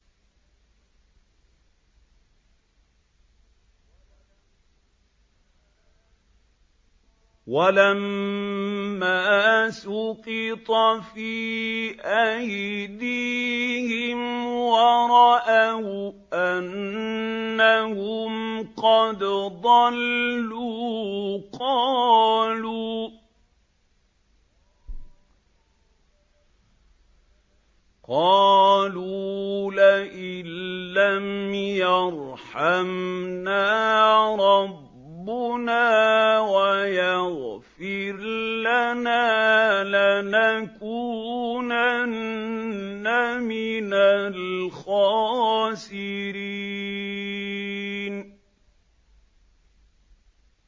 وَلَمَّا سُقِطَ فِي أَيْدِيهِمْ وَرَأَوْا أَنَّهُمْ قَدْ ضَلُّوا قَالُوا لَئِن لَّمْ يَرْحَمْنَا رَبُّنَا وَيَغْفِرْ لَنَا لَنَكُونَنَّ مِنَ الْخَاسِرِينَ